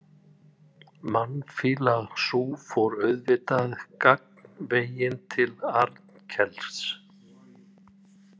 Mannfýla sú fór auðvitað gagnveginn til Arnkels.